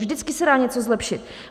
Vždycky se dá něco zlepšit!